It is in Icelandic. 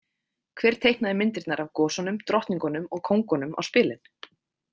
Hver teiknaði myndirnar af gosunum, drottningunum og kóngunum á spilin?